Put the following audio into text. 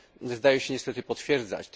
zdaje się niestety potwierdzać.